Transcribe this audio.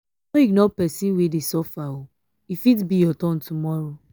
no ignore pesin wey dey suffer o e fit be your turn tomorrow.